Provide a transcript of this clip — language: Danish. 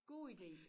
God idé